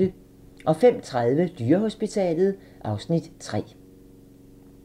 05:30: Dyrehospitalet (Afs. 3)